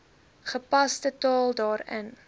gepaste taal daarin